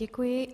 Děkuji.